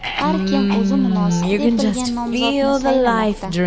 Har kim o‘zi munosib deb bilgan nomzodni saylamoqda.